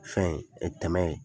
Fɛn ye tɛmɛ ye.